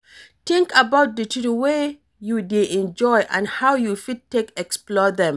think about di things wey you dey enjoy and how you fit take explore them